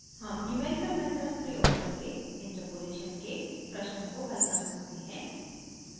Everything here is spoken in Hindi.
हम न्यूमेरिकल मेथड्स प्रयोग करके इंटरपोलेशन के प्रश्नों को हल कर सकते हैं